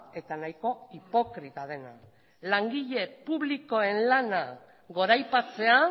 eta nahiko hipokrita dena langile publikoen lana goraipatzea